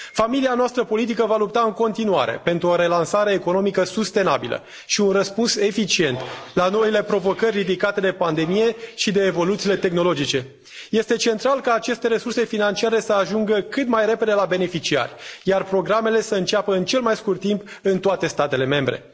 Familia noastră politică va lupta în continuare pentru o relansare economică sustenabilă și un răspuns eficient la noile provocări ridicate de pandemie și de evoluțiile tehnologice. Este central ca aceste resurse financiare să ajungă cât mai repede la beneficiari, iar programele să înceapă în cel mai scurt timp în toate statele membre.